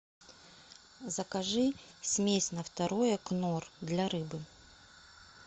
закажи смесь на второе кнор для рыбы